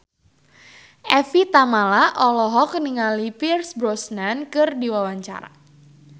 Evie Tamala olohok ningali Pierce Brosnan keur diwawancara